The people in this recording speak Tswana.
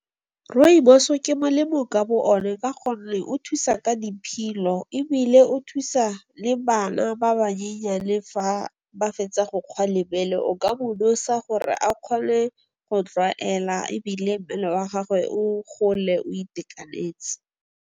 Rooibos-o ke melemo ka bo one ka gonne o thusa ka diphilo, ebile o thusa le bana ba bannyenyane fa ba fetsa go kgwa lebele o ka mo nosa gore a kgone go tlwaela ebile mmele wa gagwe o gole o itekanetse.